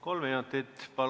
Kolm minutit, palun!